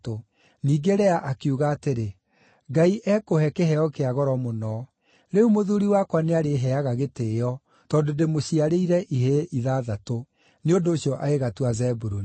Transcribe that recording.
Ningĩ Lea akiuga atĩrĩ, “Ngai ekũhe kĩheo kĩa goro mũno. Rĩu mũthuuri wakwa nĩarĩheeaga gĩtĩĩo tondũ ndĩmũciarĩire ihĩĩ ithathatũ.” Nĩ ũndũ ũcio agĩgatua Zebuluni.